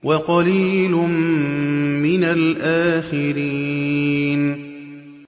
وَقَلِيلٌ مِّنَ الْآخِرِينَ